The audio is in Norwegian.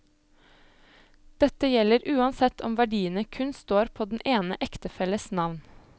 Dette gjelder uansett om verdiene kun står på den ene ektefelles navn.